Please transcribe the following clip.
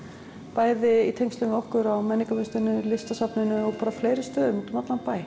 bæði í tengslum við okkur á menningarmiðstöðinni og Listasafninu og fleiri stöðum úti um allan bæ